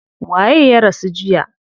Waye ya rasu jiya?